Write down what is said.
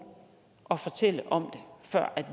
og fortælle om det før